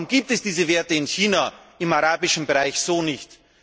Warum gibt es diese Werte in China, im arabischen Bereich so nicht?